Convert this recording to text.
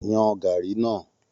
Yan gàárì náà!